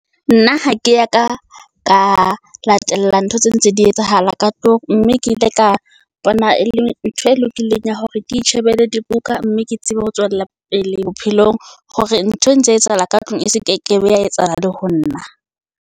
Nna ha ke ya ka ka latella ntho tse ntse di etsahala ka tlung. Mme ke ile ka bona e le ntho e lokileng ya hore ke itjhebelle dibuka mme ke tsebe ho tswella pele bophelong. Hore ntho e ntse etsahala ka tlung e se ke kebe ya etsahala le ho nna.